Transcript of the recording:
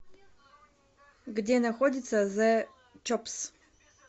где находится зе чопс